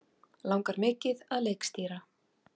Langar mikið að leikstýra